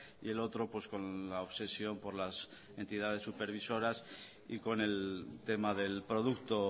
y el otro con la obsesión por las entidades supervisoras y con el tema del producto